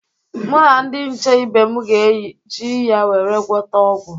Mụ na ndị nche ibe m ga-eji ya were gwọta ọgwụ.